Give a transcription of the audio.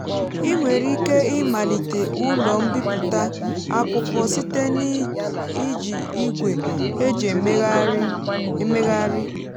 ị nwere ike ịmalite ụlọ mbipụta akwụkwọ site na iji igwe eji emegharị emegharị.